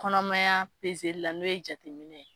Kɔnɔmaya pezeli la n'o ye jateminɛ ye.